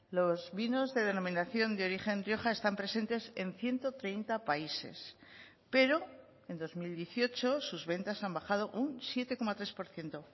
los vinos de denominación de origen rioja están presentes en ciento treinta países pero en dos mil dieciocho sus ventas han bajado un siete coma tres por ciento